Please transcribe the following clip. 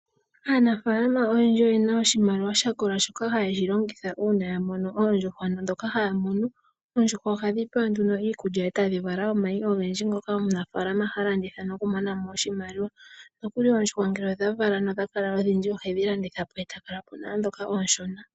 Aanafalama oyendji oyena oshimaliwa sha kola shoka haye shi longitha uuna ya mono oondjuhwa dhoka haya mono. Oondjuhwa ohadhi pewa nduuno iikulya e tadhi vala omayi ogendji ngoka omunafalama ha landitha, nokumona mo oshimaliwa. Nokuli oondjuhwa ngele odha vala nodha kala odhindji ohedhi landitha po e ta kala po nooshona.